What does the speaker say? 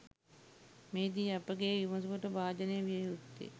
මෙහිදී අපගේ විමසුමට භාජනය විය යුත්තේ